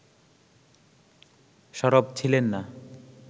সরব ছিলেন না